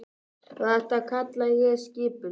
Og þetta kalla ég skipulag.